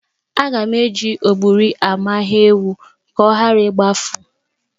Aga m eji ọgbụrị amaye ewu ka ọ ghara igbafu.